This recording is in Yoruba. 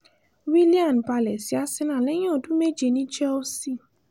willian balẹ̀ sí arsenal lẹ́yìn ọdún méje ní chelsea